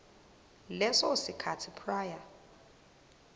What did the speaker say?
leso sikhathi prior